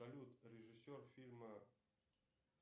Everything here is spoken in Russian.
салют режиссер фильма